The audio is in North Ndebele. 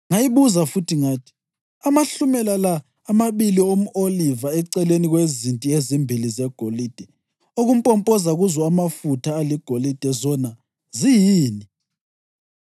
Ngayibuza futhi ngathi, “Amahlumela la amabili omʼoliva eceleni kwezinti ezimbili zegolide okumpompoza kuzo amafutha aligolide zona ziyini?”